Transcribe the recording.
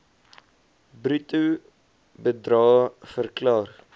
bruto bedrae verklaar